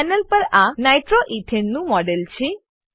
panel પર આ nitroethane નું મોડેલ છે